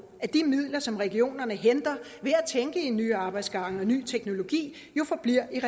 at de midler som regionerne henter ved at tænke i nye arbejdsgange og ny teknologi forbliver i